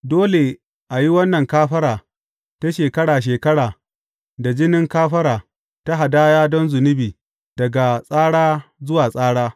Dole a yi wannan kafara ta shekara shekara da jinin kafara ta hadaya don zunubi daga tsara zuwa tsara.